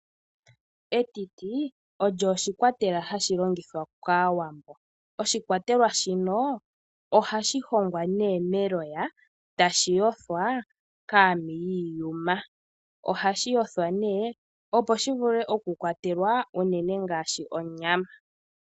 Etiti olyo oshikwatelwa hashi longithwa kAawambo. Oha li hongwa meloya eta li yothwa kaami yiiyuma. Oha mu kwatelwa unene ngaashi onyama.